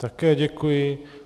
Také děkuji.